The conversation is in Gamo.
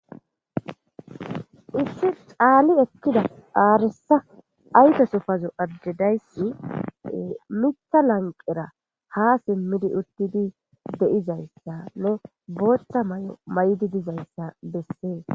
Issi caali ekida arisa ayfesi pazo Ade daysi Mitha lanqera ha simidi utidi be'izaysanne bootha mayo mayidi dizaysa besesi.